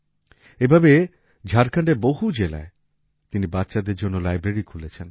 এভাবে ঝাড়খণ্ডের বহু জেলায় তিনি বাচ্চাদের জন্য লাইব্রেরী খুলেছেন